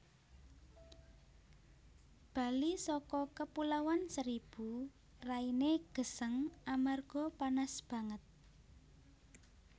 Bali soko Kepulauan Seribu raine geseng amarga panas banget